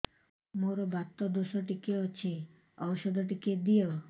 ମୋର୍ ବାତ ଦୋଷ ଟିକେ ଅଛି ଔଷଧ ଟିକେ ଦିଅ